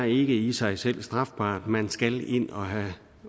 i i sig selv er strafbart man skal ind og have